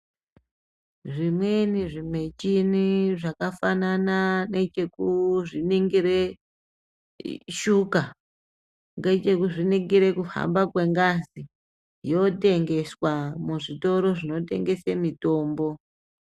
Zvimweni zvimichini zvakafanana nekekuzviningire shuka, nekekuzviningire kuhamba kwengazi, yotengeswa muzvitoro zvinetengese mitombo.